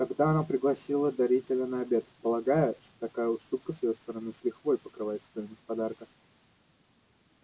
тогда она пригласила дарителя на обед полагая что такая уступка с её стороны с лихвой покрывает стоимость подарка